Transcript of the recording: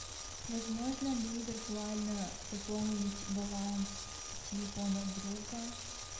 возможно ли виртуально пополнить баланс телефона друга